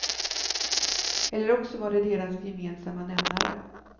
Eller också var det deras gemensamma nämnare.